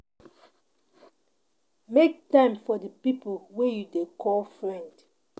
Make time for di pipo wey you dey call friend